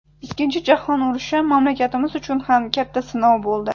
Ikkinchi jahon urushi mamlakatimiz uchun ham katta sinov bo‘ldi.